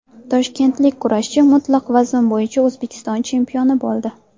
Toshkentlik kurashchi mutlaq vazn bo‘yicha O‘zbekiston chempioni bo‘ldi.